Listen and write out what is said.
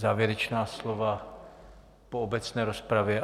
Závěrečná slova po obecné rozpravě?